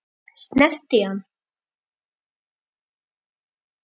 Snerti ég hann?